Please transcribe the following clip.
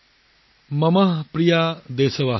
মম প্ৰিয়া দেশবাসিন